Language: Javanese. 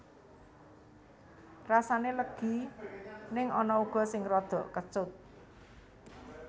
Rasané legi ning ana uga sing radha kecut